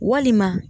Walima